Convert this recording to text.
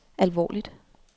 alvorligt